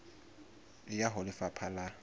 e ya ho lefapha la